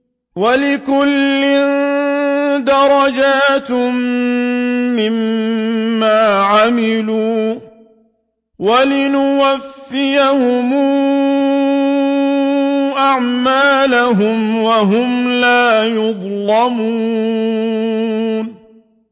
وَلِكُلٍّ دَرَجَاتٌ مِّمَّا عَمِلُوا ۖ وَلِيُوَفِّيَهُمْ أَعْمَالَهُمْ وَهُمْ لَا يُظْلَمُونَ